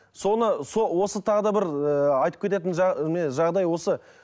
соны осы тағы да бір ыыы айтып кететін міне жағдай осы